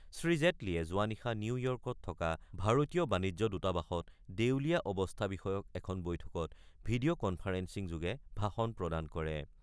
শ্ৰীজেটলীয়ে যোৱা নিশা নিউয়ৰ্কত থকা ভাৰতীয় বাণিজ্য দূতাবাসত দেউলীয়া অৱস্থা বিষয়ক এখন বৈঠকত ভিডিঅ' কনফাৰেন্সিং যোগে ভাষণ প্ৰদান কৰে।